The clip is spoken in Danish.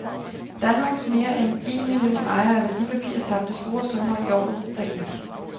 Danmarks mere end en million ejere af værdipapirer tabte store summer i året, der gik.